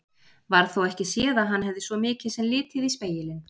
Varð þó ekki séð að hann hefði svo mikið sem litið í spegilinn.